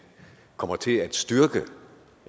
kommer til at styrke